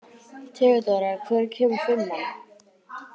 Theodóra, hvenær kemur fimman?